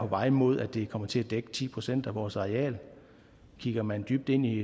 vej mod at det kommer til at dække ti procent af vores areal kigger man dybt ned i